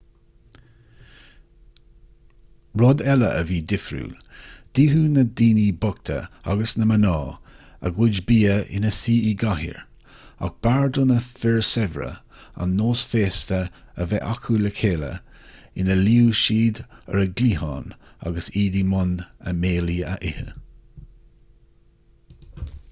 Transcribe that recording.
rud eile a bhí difriúil d'itheadh na daoine bochta agus na mná a gcuid bia ina suí i gcathaoir ach b'fhearr do na fir saibhre an nós féasta a bheith acu le chéile ina luíodh siad ar a gcliathán agus iad i mbun a mbéilí a ithe